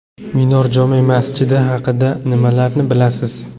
Minor jome masjidi haqida nimalarni bilasiz?.